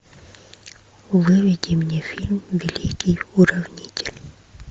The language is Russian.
выведи мне фильм великий уравнитель